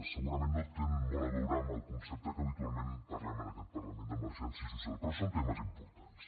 segurament no tenen molt a veure amb el concepte que habitualment parlem en aquest parlament d’emergència social però són temes importants